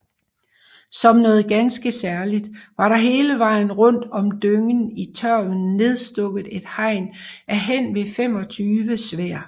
Som noget ganske særligt var der hele vejen rundt om dyngen i tørven nedstukket et hegn af henved 25 sværd